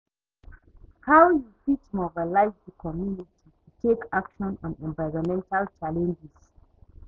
how you fit mobilize di community to take action on environmental challenges?